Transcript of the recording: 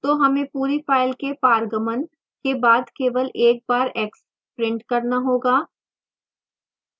तो हमें पूरी file के पारगमन के बाद केवल एक बार x print करना होगा